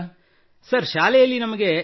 ನಮ್ಮ ಶಿಕ್ಷಕರುಗಳಿಂದ from our teachers